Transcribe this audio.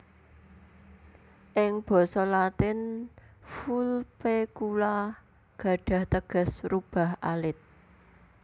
Ing basa Latin Vulpecula gadhah teges rubah alit